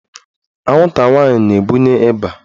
Anwụnta nwaanyị na-ebunye ịba.